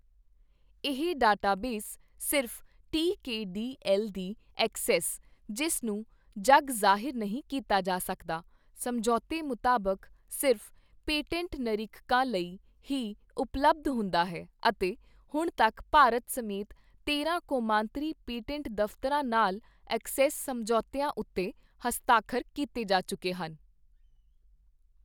ਇਹ ਡਾਟਾਬੇਸ ਸਿਰਫ਼ T K D L ਦੀ ਅਕਸੈੱਸ, ਜਿਸ ਨੂੰ ਜੱਗ ਜ਼ਾਹਿਰ ਨਹੀਂ ਕੀਤਾ ਜਾ ਸਕਦਾ, ਸਮਝੌਤੇ ਮੁਤਾਬਕ ਸਿਰਫ਼ ਪੇਟੈਂਟ ਨਿਰੀਖਕਾਂ ਲਈ ਹੀ ਉਪਲਬਧ ਹੁੰਦਾ ਹੈ ਅਤੇ ਹੁਣ ਤੱਕ ਭਾਰਤ ਸਮੇਤ ਤੇਰਾਂ ਕੌਮਾਂਤਰੀ ਪੇਟੈਂਟ ਦਫ਼ਤਰਾਂ ਨਾਲ ਅਕਸੈੱਸ ਸਮਝੌਤਿਆਂ ਉੱਤੇ ਹਸਤਾਖਰ ਕੀਤੇ ਜਾ ਚੁੱਕੇ ਹਨ।